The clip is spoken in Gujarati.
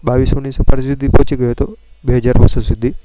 સપાટી સુધી પહોંચી ગયું હતો સુધી.